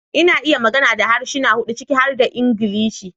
Ina iya magana da harsuna hudu ciki har da Ingilishi